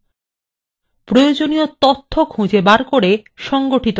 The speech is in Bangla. প্রয়োজনীয় তথ্য খুঁজে বের করে সংগঠিত করা